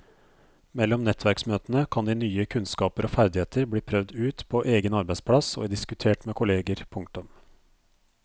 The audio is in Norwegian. Mellom nettverksmøtene kan de nye kunnskaper og ferdigheter bli prøvd ut på egen arbeidsplass og diskutert med kolleger. punktum